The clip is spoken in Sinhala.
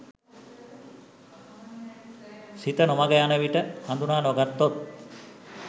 සිත නොමඟ යන විට හඳුනා නොගත්තොත්